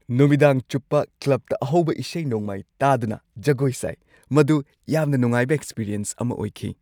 ꯅꯨꯃꯤꯗꯥꯡ ꯆꯨꯞꯄ ꯀ꯭ꯂꯕꯇ ꯑꯍꯧꯕ ꯏꯁꯩ-ꯅꯣꯡꯃꯥꯏ ꯇꯥꯗꯨꯅ ꯖꯒꯣꯏ ꯁꯥꯏ꯫ ꯃꯗꯨ ꯌꯥꯝꯅ ꯅꯨꯡꯉꯥꯏꯕ ꯑꯦꯛꯁꯄꯤꯔꯤꯑꯦꯟꯁ ꯑꯃ ꯑꯣꯏꯈꯤ꯫